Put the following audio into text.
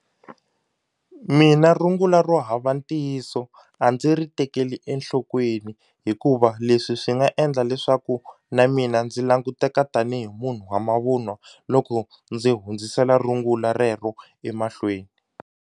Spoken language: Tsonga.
Mina rungula ro hava ntiyiso a ndzi ri tekeli enhlokweni hikuva leswi swi nga endla leswaku na mina ndzi languteka tanihi munhu wa mavunwa loko ndzi hundzisela rungula rero emahlweni.